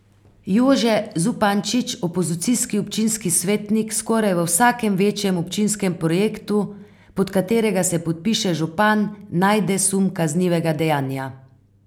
Jože Zupančič, opozicijski občinski svetnik skoraj v vsakem večjem občinskem projektu, pod katerega se podpiše župan, najde sum kaznivega dejanja.